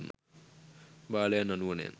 බාලයන් අනුවණයන්